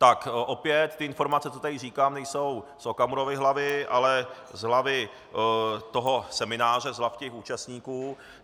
Tak opět ty informace, co tady říkám, nejsou z Okamurovy hlavy, ale z hlavy toho semináře, z hlav těch účastníků.